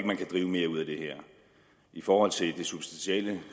man kan drive mere ud af det her i forhold til det substantielle